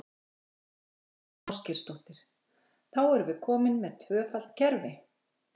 Þóra Kristín Ásgeirsdóttir: Þá erum við komin með tvöfalt kerfi?